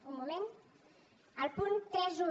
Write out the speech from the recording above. un moment al punt trenta un